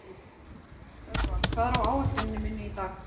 Örvar, hvað er á áætluninni minni í dag?